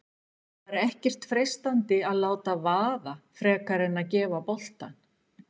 Var ekkert freistandi að láta vaða frekar en að gefa boltann?